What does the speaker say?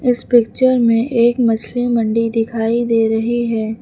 इस पिक्चर में एक मछली मंडी दिखाई दे रही है।